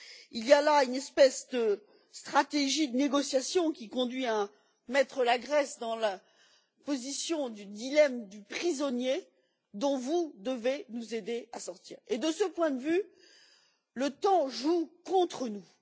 Il y a là une espèce de stratégie de négociation qui conduit à mettre la Grèce dans la position du dilemme du prisonnier dont vous devez nous aider à sortir. De ce point de vue, le temps joue contre nous.